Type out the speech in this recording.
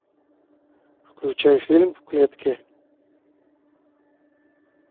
включай фильм в клетке